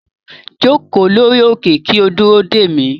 Joko lori oke ki o duro de mi